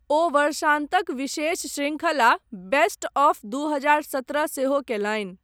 ओ वर्षान्तक विशेष शृंखला , बेस्ट ऑफ दू हजार सत्रह सेहो कयलनि।